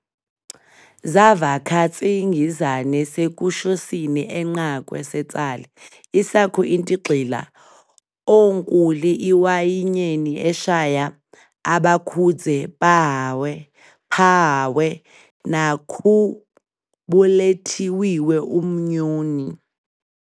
Zavakhafatsingizane seKushosini enqakwe seTsali, isakhu-intigxila oNkhuli iWayinyeni eShaya, abakudze-phahawe nakhubulethiwiwe umnyoni.